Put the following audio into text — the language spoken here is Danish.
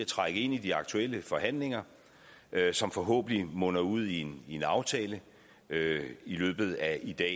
trække ind i de aktuelle forhandlinger som forhåbentlig munder ud i en aftale i løbet af i dag